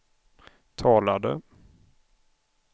talade